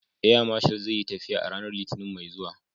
Air Marshal zai yi tafiya a ranar Litinin mai zuwa.